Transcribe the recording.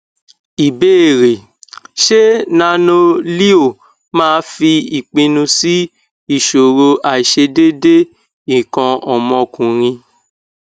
ìbéèrè ṣé nanoleo máa fi ipinnu si isoro aisedeede ikan omokunrin